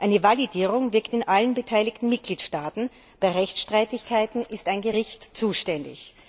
Eine Validierung wirkt in allen beteiligten Mitgliedstaaten, bei Rechtsstreitigkeiten ist ein Gericht zuständig.